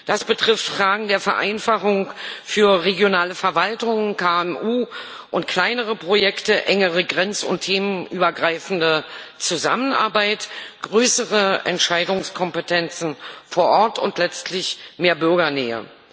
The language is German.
Das betrifft Fragen der Vereinfachung für regionale Verwaltungen, KMU und kleinere Projekte, engere grenz und themenübergreifende Zusammenarbeit, größere Entscheidungskompetenzen vor Ort und letztlich mehr Bürgernähe.